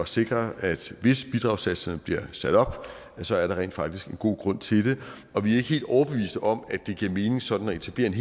sikre at hvis bidragssatserne bliver sat op ja så er der rent faktisk en god grund til det og vi er ikke helt overbeviste om at det giver mening sådan at etablere en